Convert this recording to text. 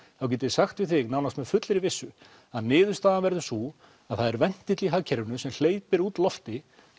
þá get ég sagt við þig nánast með fullri vissu að niðurstaðan verður sú að það er ventill í hagkerfinu sem hleypir út lofti